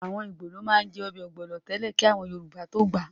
Àwọn ìgbò ní wọ́n má ń jẹ́ ọbẹ̀ ọ̀gbọ̀nọ̀ nìkan tẹ́lẹ̀ kí àwọn Yorùbá tó gbà á